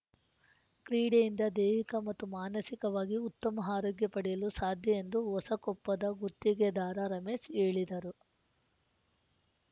ಕ್ರೀಡೆಯಿಂದ ದೈಹಿಕ ಮತ್ತು ಮಾನಸಿಕವಾಗಿ ಉತ್ತಮ ಆರೋಗ್ಯ ಪಡೆಯಲು ಸಾಧ್ಯ ಎಂದು ಹೊಸಕೊಪ್ಪದ ಗುತ್ತಿಗೆದಾರ ರಮೇಶ್‌ ಹೇಳಿದರು